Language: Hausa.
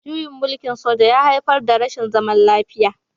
Juyin mulkin soja ya haifar da rashin zaman lafiya